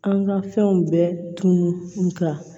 An ka fɛnw bɛɛ tun ka